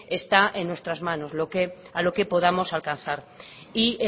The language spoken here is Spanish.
está en nuestras manos a lo que podamos alcanzar y